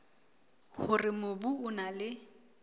hore mobu o na le